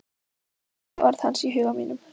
Skynji orð hans í huga mínum.